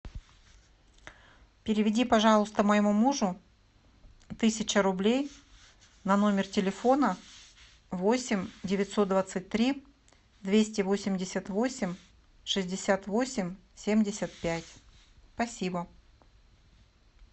переведи пожалуйста моему мужу тысяча рублей на номер телефона восемь девятьсот двадцать три двести восемьдесят восемь шестьдесят восемь семьдесят пять спасибо